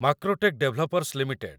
Macrotech developers limited